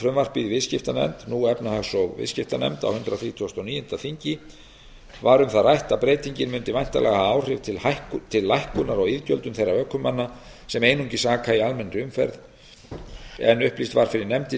frumvarpið í viðskiptanefnd nú efnahags og viðskiptanefnd á hundrað þrítugasta og níunda þingi var um það rætt að breytingin mundi væntanlega hafa áhrif til lækkunar rá iðgjöldum þeirra ökumanna sem einungis aka í almennri umferð en upplýst var fyrir nefndinni að